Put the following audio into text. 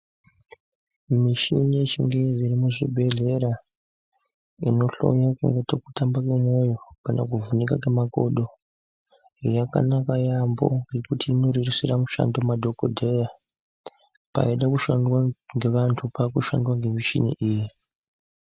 Muchini yechingezi iri muzvibhedhlera inohloye kuona kuti kutamba kwemwoyo kana kuvhunika kwemakodo, yakanaka yambo ngekuti inorerusira mushando madhokodheya paida kushandwa ngevanh pakushandwa ngemichini iyi.